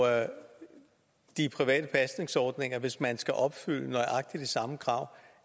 de private pasningsordninger hvis man skal opfylde nøjagtig de samme krav